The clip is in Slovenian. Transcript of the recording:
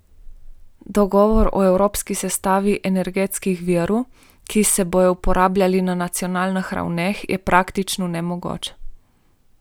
Dogovor o evropski sestavi energetskih virov, ki se bodo uporabljali na nacionalnih ravneh, je praktično nemogoč.